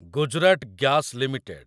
Gujarat gas limited